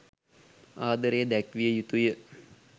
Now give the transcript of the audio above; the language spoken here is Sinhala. ආදරය දැක්විය යුතු ය.